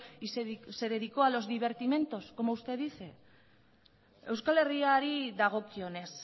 y se dedicó a los divertimentos como usted dice euskal herriari dagokionez